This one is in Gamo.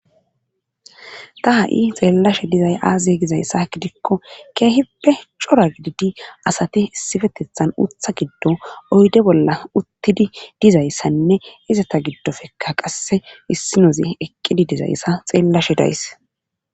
ta ha7i xeellashe dizay aaziye gizayssa gidikko keehippe cora gididi asati issipetethan uutha giddo oyde bolla uttidi dizayssanne izata giddofekka qasse issinozi eqqidi dizayssa xeellashe dayis